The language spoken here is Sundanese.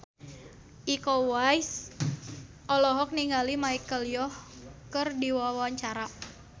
Iko Uwais olohok ningali Michelle Yeoh keur diwawancara